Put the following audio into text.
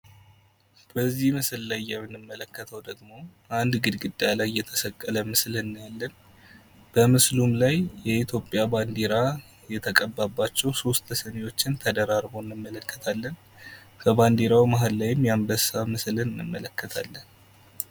በዚህ ምስል ላይ የምንመለከተው ደግሞ አንድ ግድግዳ ላይ የተሰቀለ ምስል እናያለን ።በምስሉ ላይ የኢትዮጵያ ባንዴራ የተቀባባቸውን ሶስት ስኒዎችን ተደራርበው እንመለከታለን። ከባንዴራው መሀል ላይም የአንበሳ ምስልን እንመለከታለን።